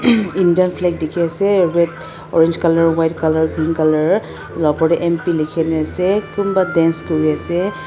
um Indian flag dikhi ase red orange color white color green color itu la opor te M_P likhi na ase kunba dance kuri ase.